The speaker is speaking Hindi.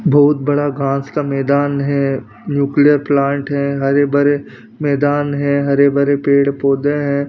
बहुत बड़ा घास का मैदान है न्यूक्लियर प्लांट है हरे भरे मैदान है हरे भरे पेड़ पौधे हैं।